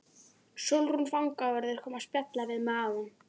Sólrún fangavörður kom að spjalla við mig áðan.